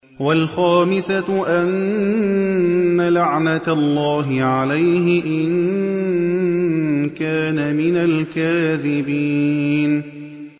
وَالْخَامِسَةُ أَنَّ لَعْنَتَ اللَّهِ عَلَيْهِ إِن كَانَ مِنَ الْكَاذِبِينَ